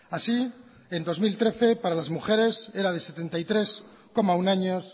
así en dos mil trece para las mujeres era de setenta y tres coma uno años